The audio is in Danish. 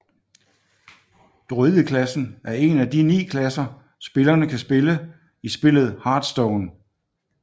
Druid klassen er en af de ni klasser spillerne kan spille i spillet Hearthstone